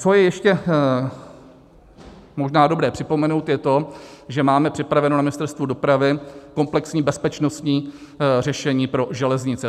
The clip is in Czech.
Co je ještě možná dobré připomenout, je to, že máme připraveno na Ministerstvu dopravy komplexní bezpečnostní řešení pro železnice.